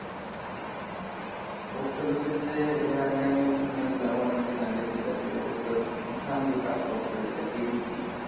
post office এর যে এর আগে আমি শুনেছিলাম অনেক দিন আগে যেটা ছিল যে তোর কিষাণ বিকাশ পদ্ধতিটা KVP